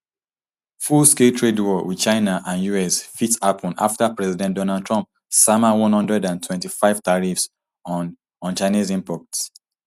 fullscale trade war wit china and us fit hapun afta president donald trump sama one hundred and twenty-five tariffs on on chinese imports